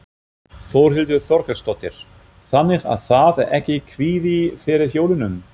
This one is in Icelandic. Þórhildur Þorkelsdóttir: Þannig að það er ekki kvíði fyrir jólunum?